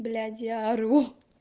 блять я ору